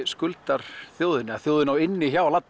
skuldar þjóðinni eða þjóðin á inni hjá